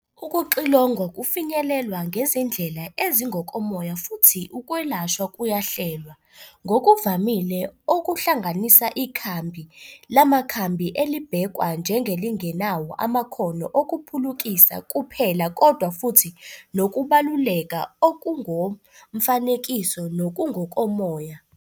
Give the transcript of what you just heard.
Ukuxilongwa kufinyelelwa ngezindlela ezingokomoya futhi ukwelashwa kuyahlelwa, ngokuvamile okuhlanganisa ikhambi lamakhambi elibhekwa njengelingenawo amakhono okuphulukisa kuphela kodwa futhi nokubaluleka okungokomfanekiso nokungokomoya.